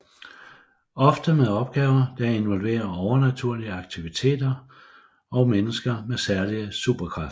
Ofte med opgaver der involverer overnaturlige aktiviteter og mennesker med særlige superkræfter